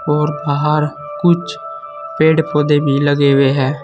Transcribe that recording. और बाहर कुछ पेड़ पौधे भी लगे हुए है।